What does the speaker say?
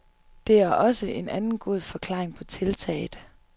Det er også en anden god forklaring på tiltaget.